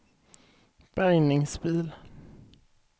bärgningsbil